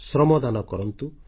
ଶ୍ରମଦାନ କରନ୍ତୁ